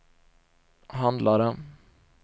handlade